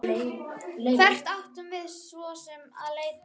Hvert áttum við svo sem að leita?